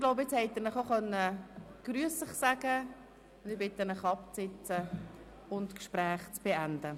Sie dürften nun genügend Zeit gehabt haben, sich gegenseitig zu begrüssen, und ich bitte Sie, sich zu setzen und die Gespräche zu beenden.